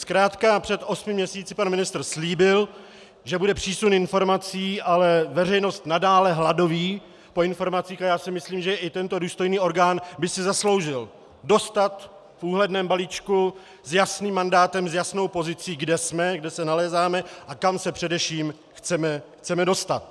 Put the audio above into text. Zkrátka před osmi měsíci pan ministr slíbil, že bude přísun informací, ale veřejnost nadále hladoví po informacích a já si myslím, že i tento důstojný orgán by si zasloužil dostat v úhledném balíčku s jasným mandátem, s jasnou pozicí, kde jsme, kde se nalézáme a kam se především chceme dostat.